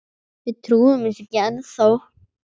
Við trúum þessu ekki ennþá.